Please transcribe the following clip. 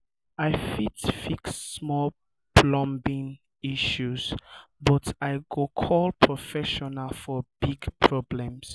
i fit fix small plumbing issues but i go call professional for big um problems. um